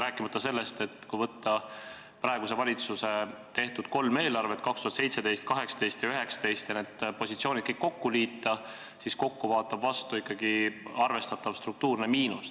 Rääkimata sellest, et kui võtta praeguse valitsuse tehtud kolm eelarvet – 2017, 2018 ja 2019 – ja kõik need positsioonid kokku liita, siis vaatab vastu ikkagi arvestatav struktuurne miinus.